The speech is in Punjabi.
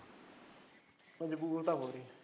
ਮਜਬੂਰ ਤਾਂ ਹੋਏ